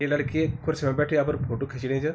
ये लड़खी कुर्सी मा बैठि अपर फोटु खिचणी च।